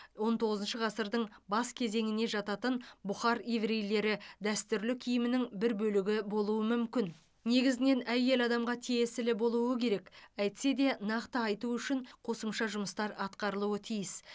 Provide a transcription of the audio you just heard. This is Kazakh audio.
он тоғызыншы ғасырдың бас кезеңіне жататын бұхар еврейлері дәстүрлі киімінің бір бөлігі болуы мүмкін негізінен әйел адамға тиесілі болуы керек әйтсе де нақты айту үшін қосымша жұмыстар атқарылуы тиіс